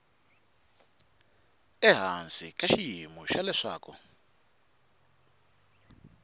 ehansi ka xiyimo xa leswaku